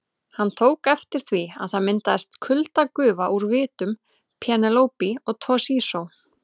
Hann tók eftir því að það myndaðist kuldagufa úr vitum Penélope og Toshizo.